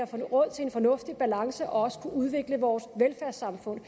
får råd til en fornuftig balance og også kunne udvikle vores velfærdssamfund